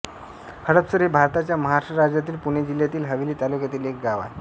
हडपसर हे भारताच्या महाराष्ट्र राज्यातील पुणे जिल्ह्यातील हवेली तालुक्यातील एक गाव आहे